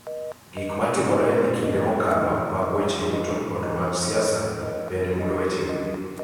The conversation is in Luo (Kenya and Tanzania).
Gik ma timore e kinde mokalo, mag weche yuto, kod mag siasa bende mulo wechegi.